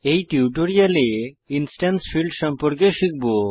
এই টিউটোরিয়ালে instance fields সম্পর্কে শিখব